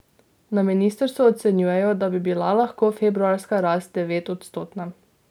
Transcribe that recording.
Na ministrstvu ocenjujejo, da bi bila lahko februarska rast devetodstotna.